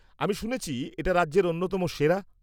আমি শুনেছি এটা রাজ্যের অন্যতম সেরা?